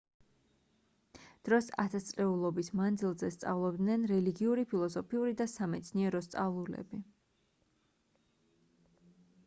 დროს ათასწლეულობის მანძილზე სწავლობდნენ რელიგიური ფილოსოფიური და სამეცნიერო სწავლულები